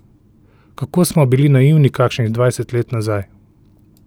Kako smo bili naivni kakšnih dvajset let nazaj!